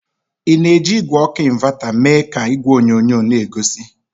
Ị na-eji igwe ọkụ ịnvata mee ka igwe onyonyo n'egosi?